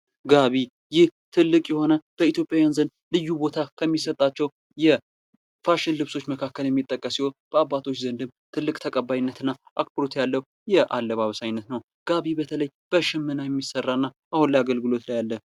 ጋቢ፦ ይህ በኢትዪጵያ ትልቅ ቦታ ከሚሰጣቸው ፋሽን ልብሶች መካክል የሚጠቀስ ሲሆን በአባቶች ዘንድም ትልቅ ተቀባይነትና አክብሮት ያለው የአለባበስ አይነት ነው።